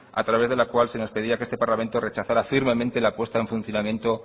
a través de la cual se nos pedía que este parlamento rechazara firmemente la puesta en funcionamiento